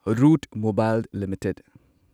root Mobile limited